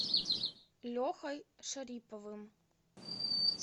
лехой шариповым